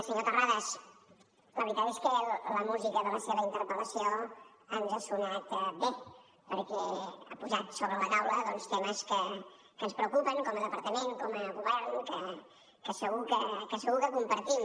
senyor terrades la veritat és que la música de la seva interpel·lació ens ha sonat bé perquè ha posat sobre la taula doncs temes que ens preocupen com a departament com a govern que segur que compartim